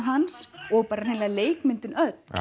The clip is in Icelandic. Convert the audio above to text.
hans og hreinlega leikmyndin öll